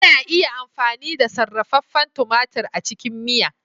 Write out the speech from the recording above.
Ana iya amfani da sarrafefen tumatir a cikin miya.